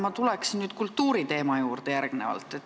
Ma tulen nüüd kultuuriteema juurde.